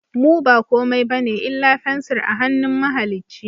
Mu ba komai bane illa fensir a hannun mahalicci